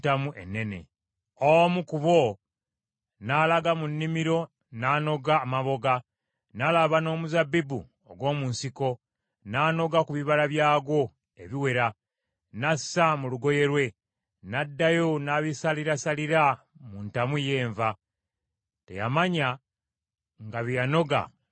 Omu ku bo n’alaga mu nnimiro n’anoga amaboga, n’alaba n’omuzabbibu ogw’omu nsiko , n’anoga ku bibala byagwo ebiwera, n’assa mu lugoye lwe. N’addayo n’abisalirasalira mu ntamu ey’enva. Teyamanya nga bye yanoga birimu akabi.